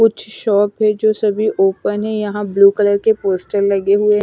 कुछ शॉप है जो सभी ओपन है यहां ब्लू कलर के पोस्टर लगे हुए हैं।